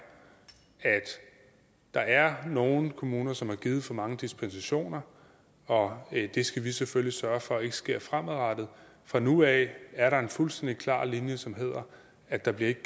at der er nogle kommuner som har givet for mange dispensationer og det skal vi selvfølgelig sørge for ikke sker fremadrettet fra nu af er der en fuldstændig klar linje som hedder at der ikke